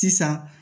Sisan